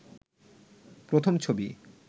প্রথম ছবি